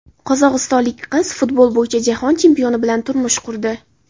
Qozog‘istonlik qiz futbol bo‘yicha jahon chempioni bilan turmush qurdi.